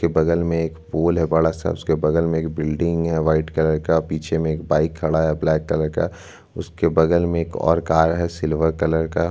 photo में एक रास्ता है रास्ते के ऊपर एक बस है रेड और ब्लैक कलर में उसके ऊपर में वाइट कलर से लिखा हुआ है कृष्णा उसके निचे में लिखा हुआ है डब्लू डब्लू डब्लू डॉट --